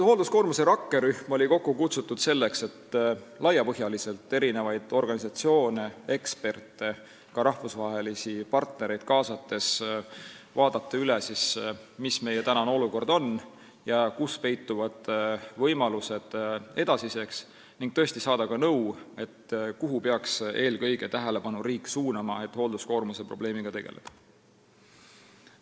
Hoolduskoormuse rakkerühm oli kokku kutsutud selleks, et laiapõhjaliselt organisatsioone, eksperte ja ka rahvusvahelisi partnereid kaasates vaadata, mis on praegune olukord ja kus peituvad edasised võimalused, ning saada ka nõu, kuhu riik peaks eelkõige tähelepanu suunama, et hoolduskoormuse probleemiga tegeleda.